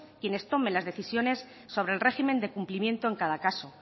quienes tomen las decisiones sobre el régimen de cumplimiento en cada caso